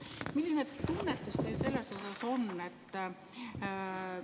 Milline tunnetus teil selles osas on?